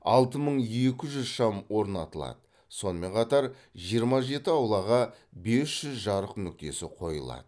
алты мың екі жүз шам орнатылады сонымен қатар жиырма жеті аулаға бес жүз жарық нүктесі қойылады